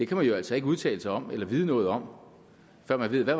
kan man jo altså ikke udtale sig om eller vide noget om før man ved hvad